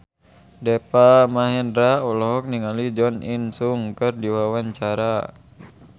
Deva Mahendra olohok ningali Jo In Sung keur diwawancara